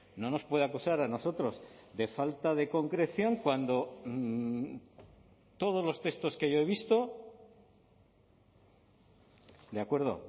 no nos puede acusar a nosotros de falta de concreción cuando todos los textos que yo he visto de acuerdo